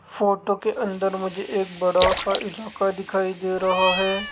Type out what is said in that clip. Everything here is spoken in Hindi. फोटो के अंदर मुझे एक बड़ा सा इलाका दिखाई दे रहा है।